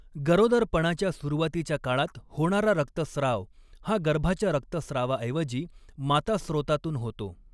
गरोदरपणाच्या सुरुवातीच्या काळात होणारा रक्तस्राव हा गर्भाच्या रक्तस्रावाऐवजी माता स्रोतातून होतो.